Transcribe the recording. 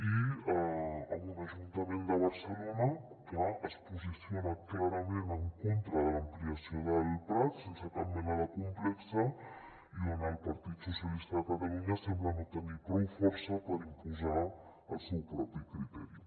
i amb un ajuntament de barcelona que es posiciona clarament en contra de l’amplia·ció del prat sense cap mena de complex i on el partit socialista de catalunya sem·bla no tenir prou força per imposar el seu propi criteri